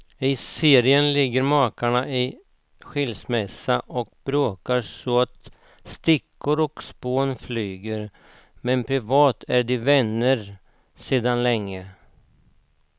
I serien ligger makarna i skilsmässa och bråkar så att stickor och strån flyger, men privat är de vänner sedan länge.